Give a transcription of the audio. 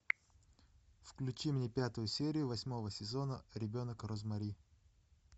включи мне пятую серию восьмого сезона ребенок розмари